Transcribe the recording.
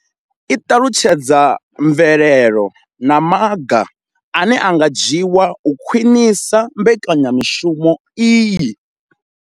I ṱalutshedza mvelelo na maga ane a nga dzhiwa u khwinisa mbekanyamushumo iyi.